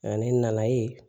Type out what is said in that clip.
Nka ne nana ye